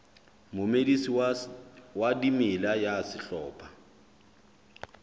momedisi wa dimela ya sehlopha